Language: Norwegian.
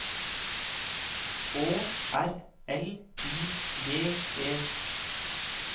Å R L I G E